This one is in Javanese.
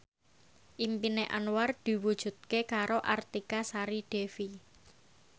impine Anwar diwujudke karo Artika Sari Devi